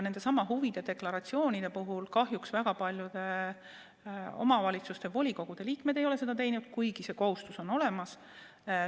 Huvide deklaratsioone kahjuks väga paljude omavalitsuste volikogude liikmed ei ole esitanud, kuigi see kohustus on olemas.